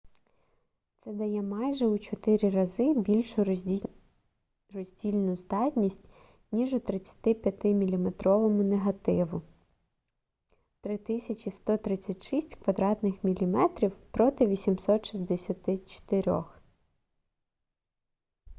це дає майже у чотири рази більшу роздільну здатність ніж у 35 мм негативу 3136 квадратних міліметрів проти 864